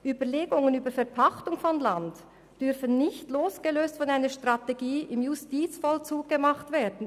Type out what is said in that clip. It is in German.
Überlegungen zur Verpachtung von Land dürfen nicht losgelöst von einer Strategie im Justizvollzug gemacht werden.